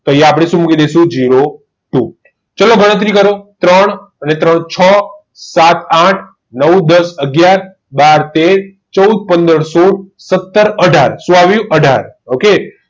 આપણે શું મૂકી દઈશું zero two લો ગણતરી કરો ત્રણ અને ત્રણ છ સાત આઠ નવ નવ દસ અગિયાર બાર તેર ચૌદ પંદર સોડ સત્તર અઢાર સું આવિયું અઢાર okay